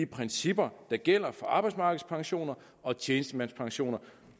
principper der gælder for arbejdsmarkedspensioner og tjenestemandspensioner